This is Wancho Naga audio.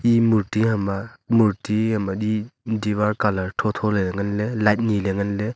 e murti hama murti am adi diwar colour tho thole nganle light nile nganle.